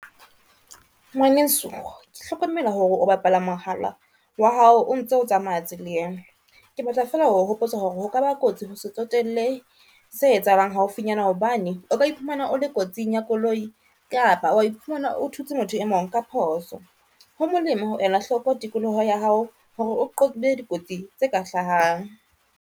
Ngwaneso ke hlokomela hore o bapala mohala wa hao o ntso tsamaya tseleng. Ke batla fela ho hopotsa hore ho ka ba kotsi ho se tsotelle se etsahalang haufinyana, hobane o ka iphumana o le kotsing ya koloi kapa wa iphumana o thutse motho e mong ka phoso. Ho molemo ho ela hloko tikoloho ya hao hore o qobe dikotsi tse ka hlahang.